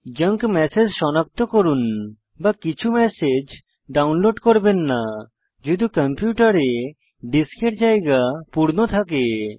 junk message সনাক্ত করুন বা কিছু ম্যাসেজ ডাউনলোড করবেন না যদি কম্পিউটারে ডিস্কের জায়গা পূর্ণ থাকে